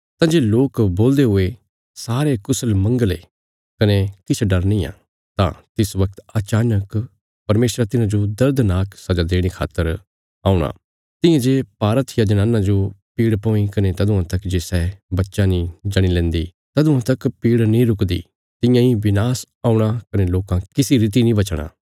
तंजे लोक बोलदे हुणे सारे कुशल मंगल ये कने किछ डर निआं तां तिस वगत अचानक परमेशरा तिन्हांजो दर्दनाक सजा देणे खातर औणा तियां जे भारहत्थिया जनाना जो पीड़ पौंई कने तदुआं तक जे सै बच्चा नीं जणी लैन्दी तदुआं तक पीड़ नीं रुकदी तियां इ विनाश औणा कने लोकां किसी रीति नीं बचणा